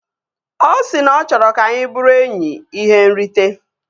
Ọ si na ọ chọrọ ka anyị bụrụ enyi ihe nrite